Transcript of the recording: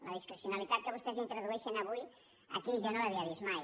la discrecionalitat que vostès introdueixen avui aquí jo no l’havia vist mai